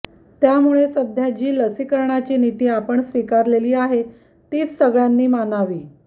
त्यामुळे सध्या जी लसीकरणाची नीती आपण स्वीकारलेली आहे तीच सगळ्यांनी मानावी